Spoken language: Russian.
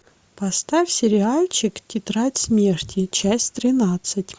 поставь сериальчик тетрадь смерти часть тринадцать